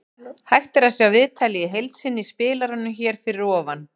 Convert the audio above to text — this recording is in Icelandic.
Hægt er að sjá viðtalið í heild sinni í spilaranum hér fyrir ofan.